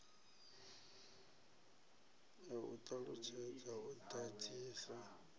ya u ṱalutshedza u ḓadzisa